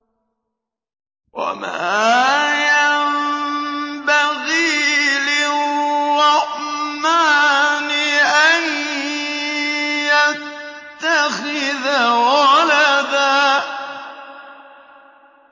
وَمَا يَنبَغِي لِلرَّحْمَٰنِ أَن يَتَّخِذَ وَلَدًا